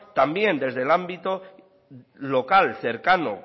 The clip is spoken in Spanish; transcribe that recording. también desde el ámbito local cercano